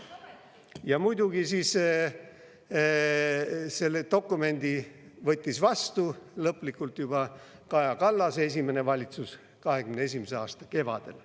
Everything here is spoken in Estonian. Ja muidugi selle dokumendi võttis vastu lõplikult juba Kaja Kallase esimene valitsus 2021. aasta kevadel.